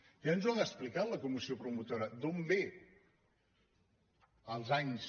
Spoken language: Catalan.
ja ens ho ha expli·cat la comissió promotora d’on ve els anys